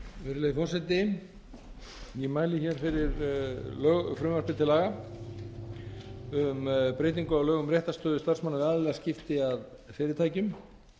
virðulegi forseti ég mæli hér fyrir frumvarpi til laga um breytingu á lögum um réttarstöðu starfsmanna við aðilaskipti að fyrirtækjum